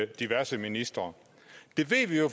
diverse ministre det ved vi jo